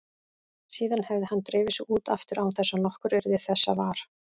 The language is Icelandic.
Síðan hefði hann drifið sig út aftur án þess að nokkur yrði þessa var.